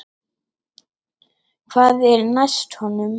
Hvað var næst honum?